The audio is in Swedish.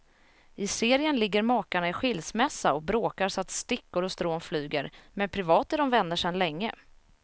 I serien ligger makarna i skilsmässa och bråkar så att stickor och strån flyger, men privat är de vänner sedan länge.